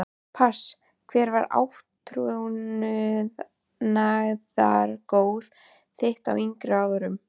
Pass Hver var átrúnaðargoð þitt á yngri árum?